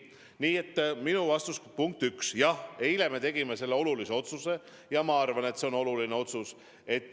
Minu vastus teile, punkt üks, on: jah, eile me tegime selle otsuse ja ma arvan, et see on oluline otsus.